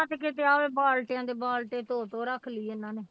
ਕਿਤੇ ਐਵੇਂ ਬਾਲਟੀਆਂ ਦੇ ਬਾਲਟੇ ਧੋ ਧੋ ਰੱਖ ਲਈ ਇਹਨਾਂ ਨੇ।